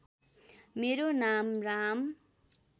मेरो नाम राम